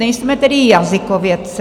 Nejsme tedy jazykovědci.